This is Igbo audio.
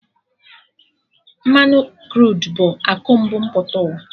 Mmanụ Kruud bụ akụ mbu mpụta ụwa